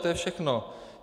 To je všechno.